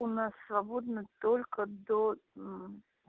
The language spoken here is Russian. у нас свободна только до